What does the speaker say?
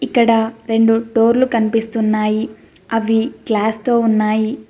ఇక్కడ రెండు డోర్లు కనిపిస్తున్నాయి అవి గ్లాస్ తో ఉన్నాయి.